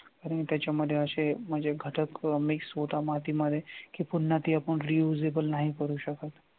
आणि त्याच्यामध्ये असे म्हणजे घटक mix होता मातीमध्ये की पुन्हा ते आपण reusable नाही करू शकत.